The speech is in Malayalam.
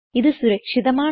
ഇത് സുരക്ഷിതമാണ്